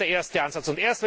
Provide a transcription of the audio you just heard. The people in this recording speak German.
Das ist der erste Ansatz.